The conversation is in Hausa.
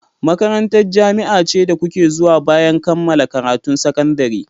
Makarantar jami'a ce da kuke zuwa bayan kammala karatun sakandare.